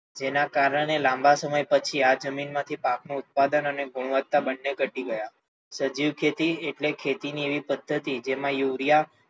જેના કારણે લાંબા સમય પછી આ જમીન માંથી ઉત્પાદન અને ગુણવત્તા બંને ઘટી ગયા, સજીવ ખેતી એટલે ખેતી ની એવી પદ્ધતિ જેમાં યુરિયા,